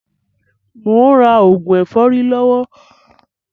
Mò ń rà òògùn ẹ̀fọ́rí lọ́wọ́